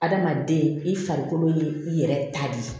Adamaden i farikolo ye i yɛrɛ ta de ye